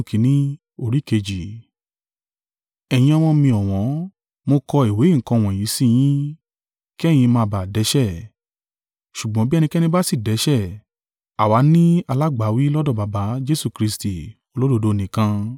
Ẹ̀yin ọmọ mi ọ̀wọ́n, mo kọ ìwé nǹkan wọ̀nyí sí yín, kí ẹ̀yin má bà á dẹ́ṣẹ̀. Ṣùgbọ́n bí ẹnikẹ́ni bá sì dẹ́ṣẹ̀, àwa ni alágbàwí lọ́dọ̀ Baba: Jesu Kristi, olódodo nìkan.